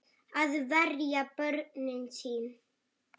Að verja börnin sín.